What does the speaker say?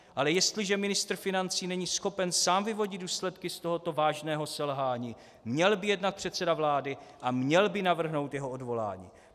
Ale jestliže ministr financí není schopen sám vyvodit důsledky z tohoto vážného selhání, měl by jednat předseda vlády a měl by navrhnout jeho odvolání.